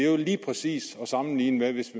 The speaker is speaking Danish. jo lige præcis sammenlignes